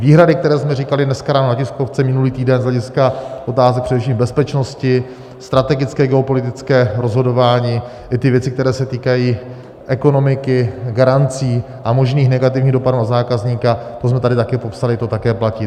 Výhrady, které jsme říkali dneska ráno na tiskovce minulý týden, z hlediska otázek především bezpečnosti, strategické geopolitické rozhodování i ty věci, které se týkají ekonomiky, garancí a možných negativních dopadů na zákazníka, to jsme tady taky popsali, to také platí.